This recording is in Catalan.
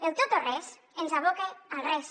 el tot o res ens aboca al res